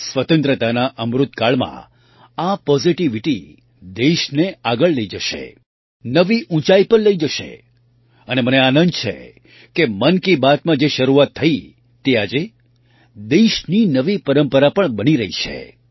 સ્વતંત્રતાના અમૃત કાળમાં આ પૉઝિટિવિટી દેશને આગળ લઈ જશે નવી ઊંચાઈ પર લઈ જશે અને મને આનંદ છે કે મન કી બાતમાં જે શરૂઆત થઈ તે આજે દેશની નવી પરંપરા પણ બની રહી છે